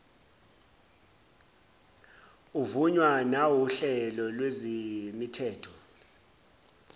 uvunywa nawuhlelo lwezemithetho